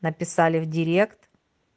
написали в директ